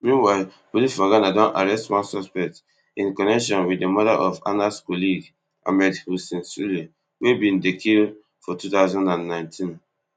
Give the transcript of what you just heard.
meanwhile police for ghana don arrest one suspect in connection wit di murder of anas colleague ahmed hussein suale wey bin dey killfor two thousand and nineteen